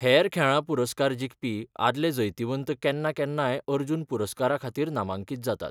हेर खेळां पुरस्कार जिखपी आदले जैतिवंतय केन्ना केन्नाय अर्जुन पुरस्कारा खातीर नामांकीत जातात.